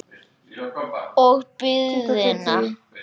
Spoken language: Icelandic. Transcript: Og biðina.